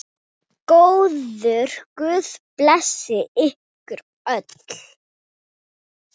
Góður guð blessi ykkur öll.